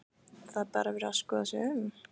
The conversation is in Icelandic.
Það er bara verið að skoða sig um?